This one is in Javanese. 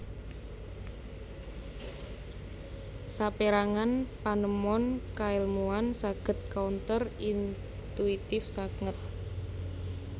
Sapérangan panemon kaèlmuan saged counter intuitive sanget